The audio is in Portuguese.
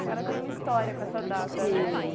Senhora, tem uma história com essa data, né?